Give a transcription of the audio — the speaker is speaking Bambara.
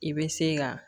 I bɛ se ka